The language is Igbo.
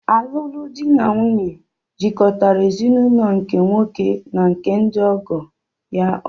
Alụmalụ di n'nwunye jikọtara ezinụlọ nke nwoke na nke ndi ọgọ ya ọnụ